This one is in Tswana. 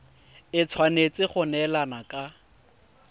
e tshwanetse go neelana ka